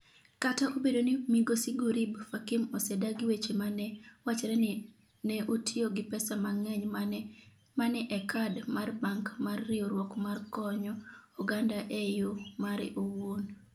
Kata obedo ni migosi Gurib-Fakim ​​osedagi weche ma ne wachre ni ne otiyo gi pesa mang’eny ma ne e kad mar bank mar riwruok mar konyo oganda e yo mare owuon.